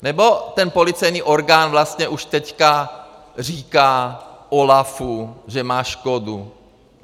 Nebo ten policejní orgán vlastně už teďka říká OLAFu, že má škodu.